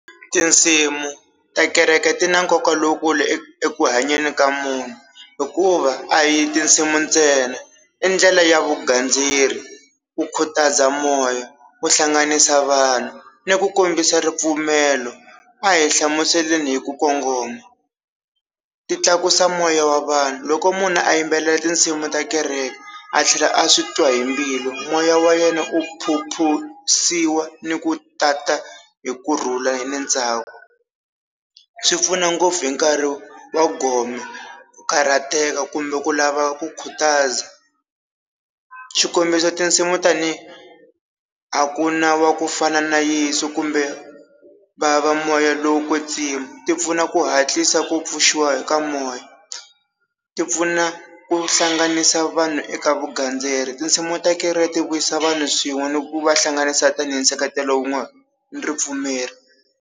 Tinsimu ta kereke ti na nkoka lowukulu eku hanyeni ka munhu hikuva a hi tinsimu ntsena i ndlela ya vugandzeri, ku khutaza moya, ku hlanganisa vanhu ni ku kombisa ripfumelo, a hi hlamuseleni hi ku kongoma ti tlakusa moya wa vanhu loko munhu a yimbelela tinsimu ta kereke a tlhela a swi twa hi mbilu, moya wa yena u phuphusiwa ni ku tata hi kurhula hi le ndzhaku, swi pfuna ngopfu hi nkarhi wa gome ku karhateka kumbe ku lava ku khutaza, xikombiso tinsimu tanihi a ku na wa ku fana na Yeso kumbe vava moya lowo kwetsiwa, ti pfuna ku hatlisa ku pfuxiwa hi ka moya ti pfuna ku hlanganisa vanhu eka vugandzeri, tinsimu ta kereke ti vuyisa vanhu swin'we ni ku vahlanganisa tanihi nseketelo wu nga ripfumelo.